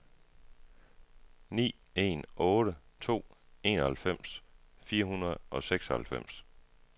ni en otte to enoghalvfems fire hundrede og seksoghalvfems